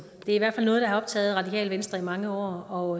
det er i hvert fald noget der har optaget radikale venstre i mange år